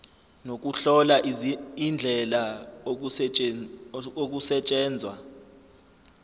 nokuhlola indlela okusetshenzwa